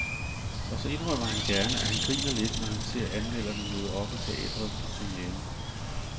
Og så indrømmer han gerne, at han griner lidt, når han ser anmelderne møde op i teatret til premieren.